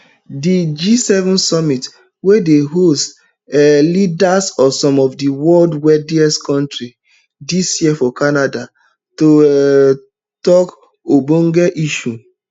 di gseven summit dey host um leaders of some of di world wealthiest kontris dis year for canada to um tok ogbonge issues